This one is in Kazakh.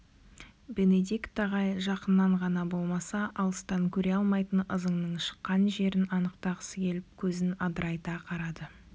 бенедикт ағай жақыннан ғана болмаса алыстан көре алмайтын ызыңның шыққан жерін анықтағысы келіп көзін адырайта қарады